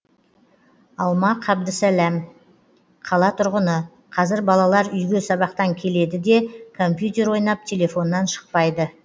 алма қабдісләм қала тұрғыны қазір балалар үйге сабақтан келеді де компьютер ойнап телефоннан шықпайды